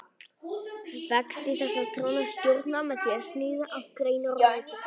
Vexti þessara trjáa er stjórnað með því að sníða af greinar og rætur.